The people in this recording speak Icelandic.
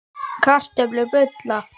Kartöflur bulla í pottinum á eldavélinni.